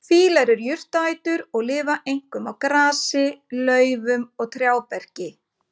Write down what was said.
Fílar eru jurtaætur og lifa einkum á grasi, laufum og trjáberki.